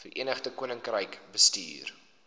verenigde koninkryk bestuur